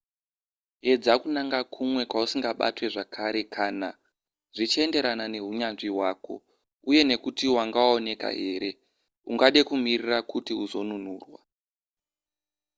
edza kunanga kumwe kwausingabatwe zvakare kana zvichienderana nehunyanzvi hwako uye nekuti wanga waonekwa here ungade kumirira kuti uzonunurwa